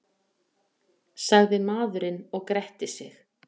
sagði maðurinn og gretti sig.